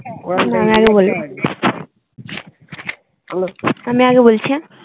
আমি আগে বলি আমি আগে বলছি হ্যাঁ।